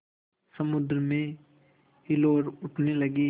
समुद्र में हिलोरें उठने लगीं